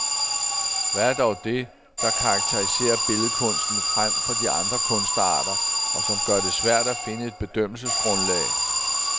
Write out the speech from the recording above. Hvad er dog det, der karaktiserer billedkunsten frem for de andre kunstarter, og som gør det svært at finde et bedømmelsesgrundlag?